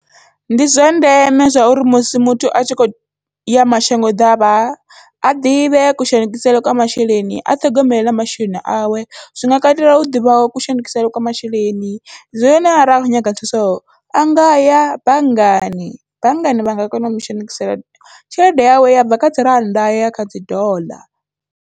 Ndi zwa ndeme zwa uri musi muthu atshi kho ya mashango ḓavha, a ḓivhe kushandukisele kwa masheleni a ṱhogomele na masheleni awe, zwi nga katela u ḓivha kushandukisele kwa masheleni zwino arali a kho nyaga thuso a ngaya banngani, banngani vha nga kona u mushandukisela tshelede yawe ya bva kha dzi rannda ya ya kha dzi doḽa.